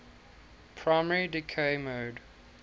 primary decay mode